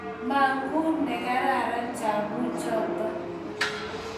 Manguuu negararan chabuk choto